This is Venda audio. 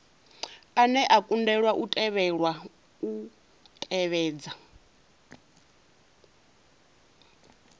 ane a kundelwa u tevhedza